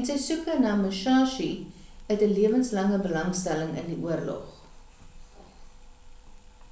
en sy soeke na die musashi uit 'n lewenslange belangstelling in die oorlog